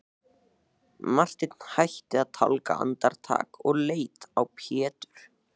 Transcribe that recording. Marteinn hætti að tálga andartak og leit á Pétur.